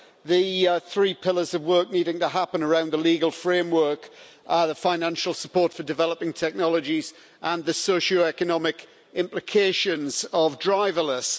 The three pillars of work needing to happen around the legal framework are the financial support for developing technologies and the socio economic implications of driverless.